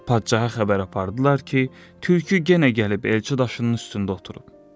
Padşaha xəbər apardılar ki, tülkü yenə gəlib elçi daşının üstündə oturub.